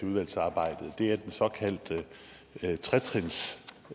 udvalgsarbejdet er den såkaldte